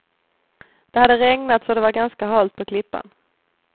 Det hade regnat så det var ganska halt på klippan.